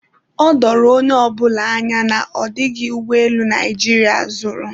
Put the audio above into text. o doro onye ọbụla anya na ọ dịghị ụgbọelu Naijiria zụrụ